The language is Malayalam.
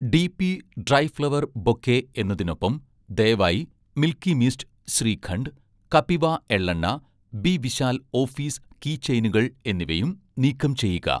ഡി.പി' ഡ്രൈ ഫ്ലവർ ബൊക്കെ എന്നതിനൊപ്പം, ദയവായി 'മിൽക്കി മിസ്റ്റ്' ശ്രീഖണ്ഡ്, 'കപിവ' എള്ളെണ്ണ, 'ബി വിശാൽ' ഓഫീസ് കീ ചെയിനുകൾ എന്നിവയും നീക്കം ചെയ്യുക